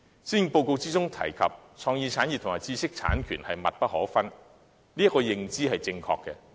施政報告提到創意產業和知識產權密不可分，這項認知是正確的。